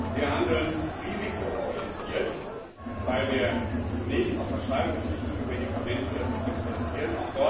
Wir handeln risikoorientiert, weil wir uns zunächst auf verschreibungspflichtige Medikamente konzentrieren.